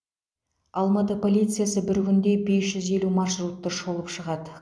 алматы полициясы бір күнде бес жүз елу маршрутты шолып шығады